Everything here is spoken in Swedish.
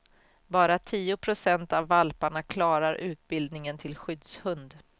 Bara ca tio procent av valparna klarar utbildningen till skyddshund.